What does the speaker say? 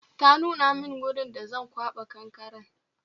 Ta nuna min wurin da Zan kwaba kankaren